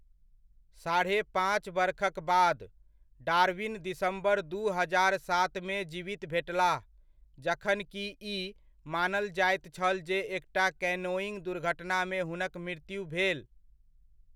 साढ़े पाँच बरखक बाद, डार्विन दिसम्बर दू हजार सातमे जीवित भेटलाह, जखनकि ई मानल जायत छल जे एकटा कैनोइङ्ग दुर्घटनामे हुनक मृत्यु भेल।